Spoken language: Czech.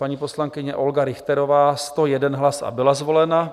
Paní poslankyně Olga Richterová 101 hlasů a byla zvolena.